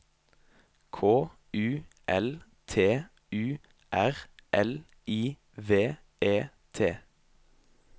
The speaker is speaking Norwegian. K U L T U R L I V E T